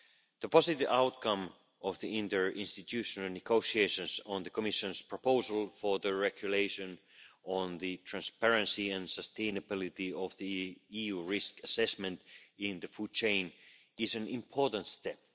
The positive outcome of the interinstitutional negotiations on the Commission's proposal for the regulation on the transparency and sustainability of the EU risk assessment in the food chain is an important step.